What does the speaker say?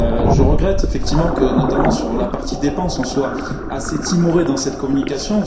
Je regrette effectivement que, notamment sur la partie dépenses, on soit assez timoré dans cette communication.